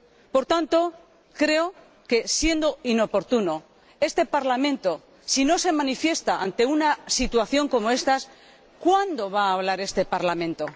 Por tanto, creo que, si es inoportuno, este Parlamento, si no se manifiesta ante una situación como ésta, ¿cuándo va a hablar este Parlamento?